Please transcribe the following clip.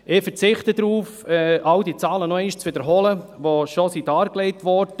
Ich verzichte darauf, all die Zahlen zu wiederholen, die bereits dargelegt wurden.